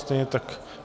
Stejně tak...